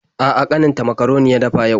A'a, ƙaninta makaroni ya dafa yau.